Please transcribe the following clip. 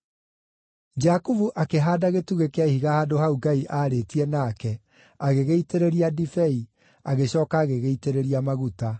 Jakubu akĩhaanda gĩtugĩ kĩa ihiga handũ hau Ngai aarĩtie nake, agĩgĩitĩrĩria ndibei; agĩcooka agĩgĩitĩrĩria maguta.